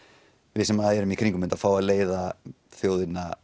við sem erum í kringum þetta fá að leiðina þjóðina